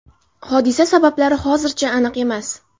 Hodisa sabablari hozircha aniq emas.